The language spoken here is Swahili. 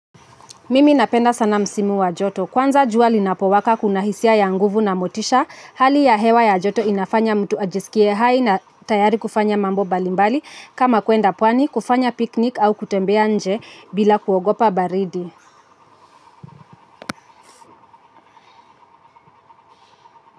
Mimi napenda sana msimu wa joto, kwanza jua linapowaka kuna hisia ya nguvu na motisha, hali ya hewa ya joto inafanya mtu ajisikie hai na tayari kufanya mambo mbalimbali kama kwenda pwani kufanya piknik au kutembea nje bila kuogopa baridi.